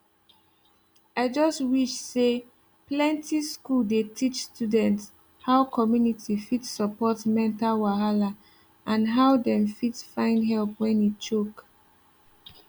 i just wish say plenty school dey teach students how community fit support mental wahala and how dem fit find help when e choke